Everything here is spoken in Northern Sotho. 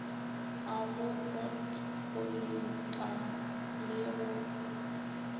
a go botpollipa le go